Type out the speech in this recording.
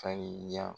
Farinya